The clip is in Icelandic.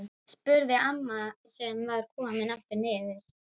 spurði amma sem var komin aftur niður.